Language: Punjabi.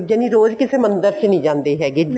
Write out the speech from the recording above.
ਜਾਣੀ ਰੋਜ਼ ਕਿਸੇ ਮੰਦਿਰ ਚ ਨੀ ਜਾਂਦੀ ਹੈਗੀ